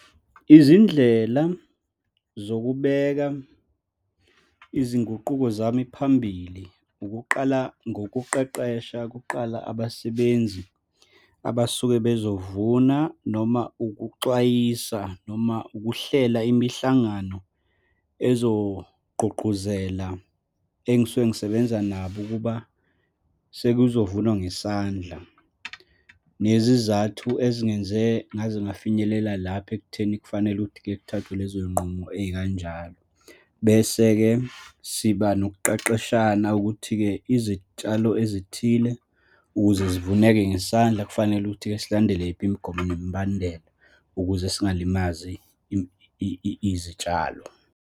Izindlela zokubeka izinguquko zami phambili, ukuqala ngokuqeqesha kuqala abasebenzi abasuke bezovuna, noma ukuxwayisa, noma ukuhlela imihlangano ezogqugquzela engisuke ngisebenza nabo ukuba sekuzovunwa ngesandla, nezizathu ezingenze ngaze ngafinyelela lapha ekutheni kufanele ukuthi-ke kuthathwe lezo y'nqumo ey'kanjalo. Bese-ke siba nokuqeqeshana ukuthi-ke izitshalo ezithile ukuze zivuneke ngesandla, kufanele ukuthi-ke silandele yiphi imigomo nemibandela ukuze zingalimazi izitshalo.